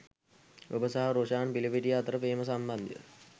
ඔබ සහ රොෂාන් පිලපිටිය අතර ප්‍රේම සම්බන්ධය